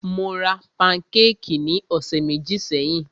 Mó rá pankékì ní ọ̀sẹ̀ méjì sẹ́yìn.